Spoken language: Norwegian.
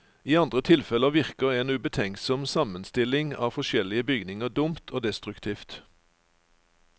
I andre tilfeller virker en ubetenksom sammenstilling av forskjellige bygninger dumt og destruktivt.